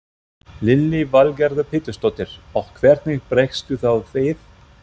Lillý Valgerður Pétursdóttir: Og hvernig bregstu þá við?